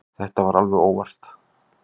Þetta var alveg óvart.